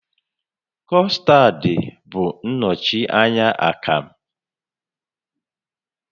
Custard bụ nnọchi anya akamụ